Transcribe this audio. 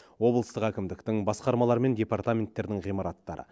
облыстық әкімдіктің басқармалар мен департаменттердің ғимараттары